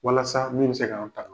Walasa min bɛ se k'an ta.